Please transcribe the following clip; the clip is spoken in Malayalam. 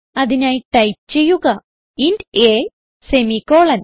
അതിനായി ടൈപ്പ് ചെയ്യുക ഇന്റ് a സെമിക്കോളൻ